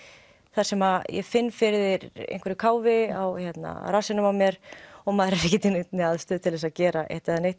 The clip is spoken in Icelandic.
þar sem ég finn fyrir einhverju káfi á rassinum á mér og maður er ekki í neinni aðstöðu til þess að gera eitt eða neitt